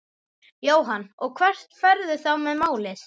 Jóhann: Og hvert ferðu þá með málið?